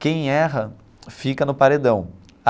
Quem erra fica no paredão.